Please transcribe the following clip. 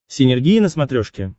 синергия на смотрешке